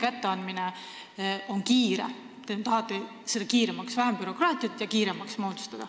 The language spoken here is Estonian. Te tahate muuta seda kiiremaks, nii et on vähem bürokraatiat.